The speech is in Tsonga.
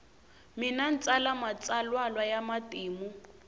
mina ntsala matsalwalwa yamatimu